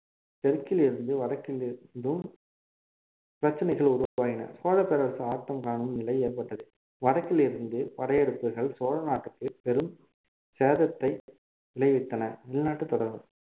தெற்கிலிருந்து வடக்கிலிருந்தும் பிரச்சனைகள் உருவாகின சோழப்பரசு ஆட்டம் காணும் நிலை ஏற்பட்டது வடக்கிலிருந்து படையெடுப்புகள் சோழநாட்டிற்கு பெரும் சேதத்தை விளைவித்தன வெளிநாட்டுத் தொடர்புகள்